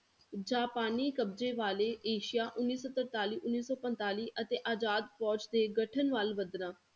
ਜਾਪਾਨੀ ਕਬਜ਼ੇ ਵਾਲੇ ਏਸ਼ੀਆ ਉੱਨੀ ਸੌ ਤਰਤਾਲੀ, ਉੱਨੀ ਸੌ ਪੰਤਾਲੀ ਅਤੇ ਆਜ਼ਾਦ ਫੌਜ ਦੇ ਗਠਨ ਵੱਲ ਵਧਣਾ।